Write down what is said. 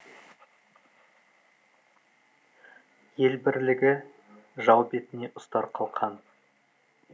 ел бірлігі жау бетіне ұстар қалқан